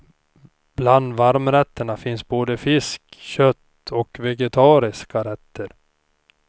Bland varmrätterna finns både fisk, kött och vegetariska rätter.